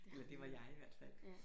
Eller det var jeg i hvert fald